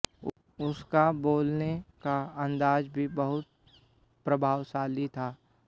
उसका बोलने का अंदाज भी बहुत प्रभावशाली था